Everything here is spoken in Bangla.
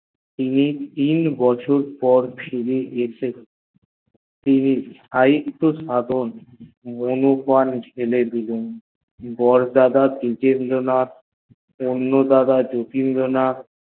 তিনি তিন বছর পর ফিরলেন তিনি সাহিতত চর্চা ছেড়ে দিলেন দাদা ডিজেন্দ্র নাথ ঠাকুর ও যতীন্দ্রনাথ